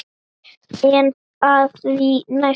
En á því næsta?